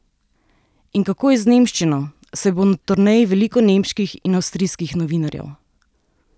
In kako je z nemščino, saj bo na turneji veliko nemških in avstrijskih novinarjev?